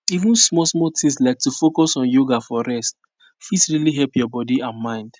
even smallsmall things like to focus on yoga for rest fit really help your body and mind